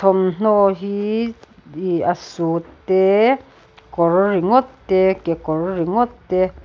thawmhnaw hi ihh a suit te kawr ringawt te kekawr ringawt te.